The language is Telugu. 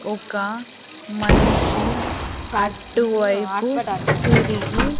ఒక మనిషి అటు వైపు తిరిగి--